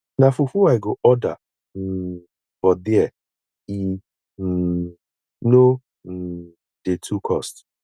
na fufu i go order um for there e um no um dey too cost